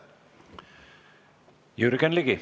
Jürgen Ligi.